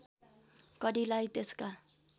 कडीलाई त्यसका